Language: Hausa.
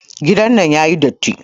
Gidan nan yayi datti.